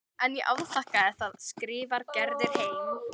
En ég afþakkaði það, skrifar Gerður heim.